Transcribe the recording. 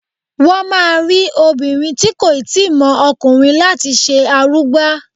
Wọn máa rí obìnrin tí kò ì tíì mọ ọkùnrin láti ṣe arugba.